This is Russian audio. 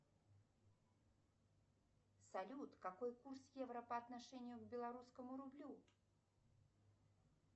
салют какой курс евро по отношению к белорусскому рублю